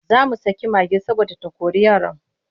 Za mu saki mage saboda ta kori yaran.